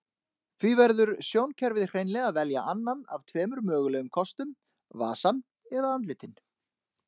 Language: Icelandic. Því verður sjónkerfið hreinlega að velja annan af tveimur mögulegum kostum, vasann eða andlitin.